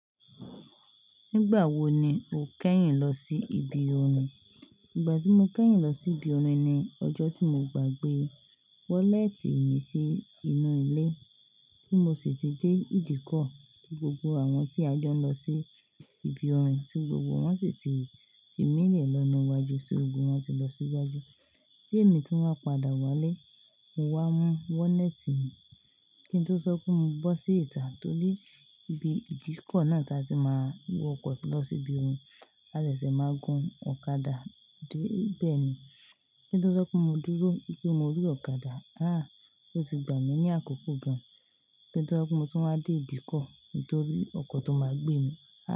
Nígbà wo ni o kẹ́yìn lọ sí ibi orin? Ìgbà tí mo kẹ́yìn lọ sí ibi orin ni ọjọ́ tí mo gbàgbé wọ́lẹ́tì mi sí inú ilé, tí mo sì ti dé ìdíkọ̀ tí gbogbo àwọn tí a jọ ń lọ sí ibi orin tí gbogbo wọn sì ti fì mí lè lọ́nà iwájú tí ogun wọn ti lọ síwájú. Ti èmi tún wá padà wálé, mo wá mú wọ́lẹ́tì mi. Kín tó sọkún mú bọ́ sí ìta nítorí ibi ìdíkọ̀ náà tí a sì máa wọ ọkọ̀ lọ sí ibi orin. A de ṣẹ̀ máa gun ọ̀kadà dé bẹ́ẹ̀ ni. Kín tó sọpe mo dúró wipe mo rí ọ̀kadà aaa o ti gbà mí ní àkókò gan. Kín tó sọpe mo tún wá dé ìdíkọ̀ kintori ọkọ̀ tó máa gbé mi há.